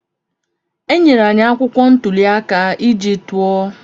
E nyere anyị akwụkwọ ntuli aka iji tụọ.